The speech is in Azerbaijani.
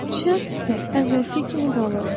Şərt isə əvvəlki kimi qalır.